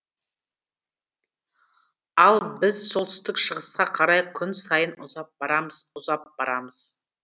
ал біз солтүстік шығысқа қарай күн сайын ұзап барамыз ұзап барамыз